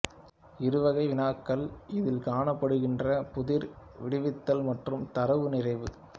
இருவகை வினாக்கள் இதில் காணப்படுகின்றன புதிர் விடுவித்தல் மற்றும் தரவு நிறைவு